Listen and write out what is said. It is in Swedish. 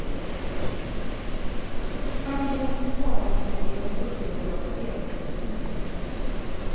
Familjerna fick svara på om de var intresserade av att delta i publikmätningar.